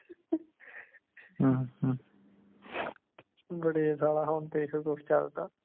ਬੜੇ ਸਾਲਾ ਹੁਣ ਤੇ ਇਹੋ ਕੁਸ਼ ਚਲਦਾ